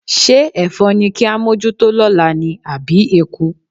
Ṣé ẹ̀fọn ni ká mójútó lọ́la ni àbí eku?